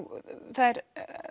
þær